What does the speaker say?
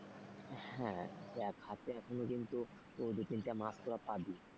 হ্যাঁ, দেখ হাতে এখনো কিন্তু দুই তিনটা মাস তোরা পাবি।